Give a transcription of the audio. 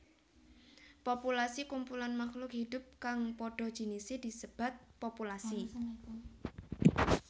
Populasi Kumpulan makhluk hidup kang padha jinise disebat populasi